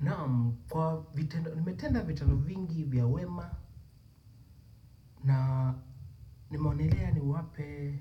Naam, kwa vitendo, nimetenda vitendo vingi vya wema na nimeonelea niwape